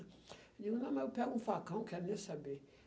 Eu digo, não, mas eu pego um facão, quero nem saber.